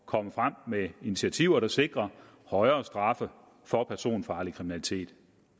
komme frem med initiativer der sikrer højere straffe for personfarlig kriminalitet